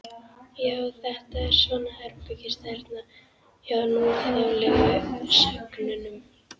Já, þetta er svona herbergisþerna hjá núþálegu sögnunum.